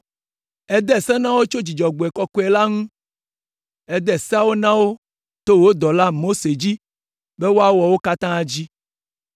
Ède Se na wo tso Dzudzɔgbe kɔkɔe la ŋu, ède Seawo na wo to wò dɔla, Mose dzi be woawɔ wo katã dzi.